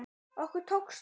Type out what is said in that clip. Okkur tókst það.